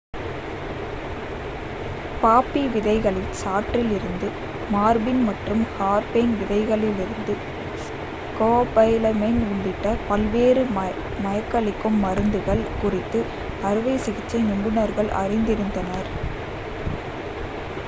பாப்பி விதைகளின் சாற்றில் இருந்து மார்பின் மற்றும் ஹெர்பேன் விதைகளிலிருந்து ஸ்கோபோலமைன் உள்ளிட்ட பல்வேறு மயக்கமளிக்கும் மருந்துகள் குறித்து அறுவை சிகிச்சை நிபுணர்கள் அறிந்திருந்தனர்